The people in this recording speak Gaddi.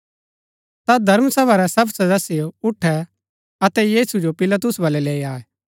ता धर्म सभा रै सब सदस्य उठै अतै यीशु जो पिलातुस बल्लै लैई आये